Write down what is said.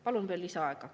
Palun veel lisaaega.